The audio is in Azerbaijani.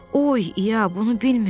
Oy, i-ya, bunu bilmirdim.